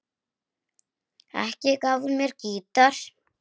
Ekki gaf hún mér gítar.